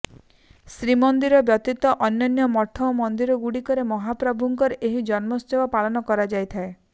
ଶ୍ରୀ ମନ୍ଦିର ବ୍ୟତୀତ ଅନ୍ୟାନ୍ୟ ମଠ ଓ ମନ୍ଦିର ଗୁଡିକରେ ମହାପ୍ରଭୁଙ୍କର ଏହି ଜନ୍ମୋତ୍ସବ ପାଳନ କରାଯାଇଥାଏ